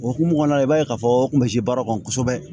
O hukumu kɔnɔna la i b'a ye k'a fɔ n kun bɛ se baara kɔnɔ kosɛbɛ